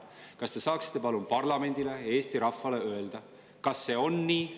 Kas te saaksite palun parlamendile ja Eesti rahvale öelda, kas see on nii?